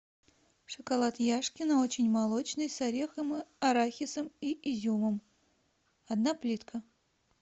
шоколад яшкино очень молочный с орехом арахисом и изюмом одна плитка